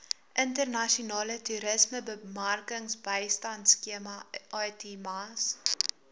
internasionale toerismebemarkingbystandskema itmas